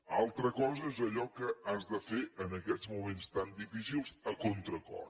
una altra cosa és allò que has de fer en aquests moments tan difícils a contracor